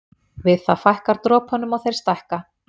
Við það fækkar dropunum og þeir stækka.